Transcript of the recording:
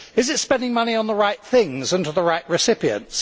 Is it spending money on the right things and the right recipients?